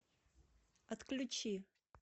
отключи